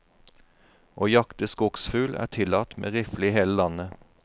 Å jakte skogsfugl er tillatt med rifle i hele landet.